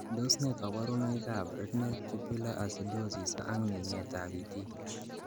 Tos nee koborunoikab koimutietab Renal tubular acidosis ak ming'etab itik?